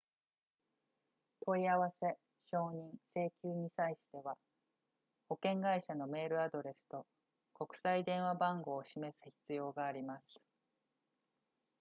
問い合わせ承認請求に際しては保険会社のメールアドレスと国際電話番号を示す必要があります